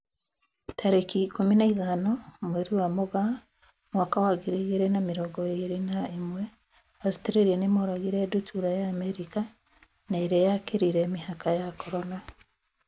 Tarĩki ikũmi na ithano mweri wa Mũgaa mwaka wa ngiri igĩrĩ na mĩrongo ĩrĩ na ĩmwe, Australia nĩmoragĩte ndutura ya Amerika na ĩrĩa yakĩrire mĩhaka ya Corona.